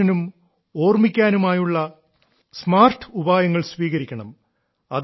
റിവിഷനും ഓർമ്മിക്കാനുമായുള്ള സ്മാർട്ട് ഉപായങ്ങൾ സ്വീകരിക്കണം